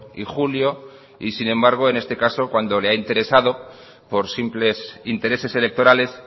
y julio y sin embargo en este caso cuando le ha interesado por simples intereses electorales